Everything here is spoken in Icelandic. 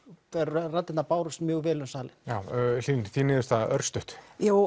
raddirnar bárust mjög vel um salinn já Hlín þín niðurstaða örstutt já